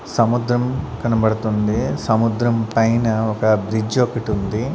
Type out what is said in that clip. సముద్రం కనబడుతుంది సముద్రం పైన ఒక బ్రిడ్జి ఒకటి ఉంది.